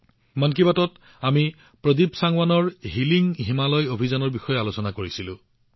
মন কী বাতত আমি প্ৰদীপ চাংৱানজীৰ হিলিং হিমালয় অভিযানৰ বিষয়ে আলোচনা কৰিছিলো